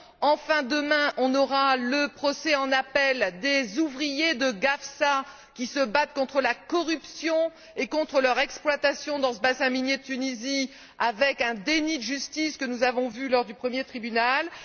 Enfin, demain, on aura le procès en appel des ouvriers de Gafsa qui se battent contre la corruption et contre leur exploitation dans ce bassin minier de Tunisie, avec un déni de justice que nous avons vu lors du premier procès.